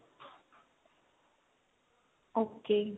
ok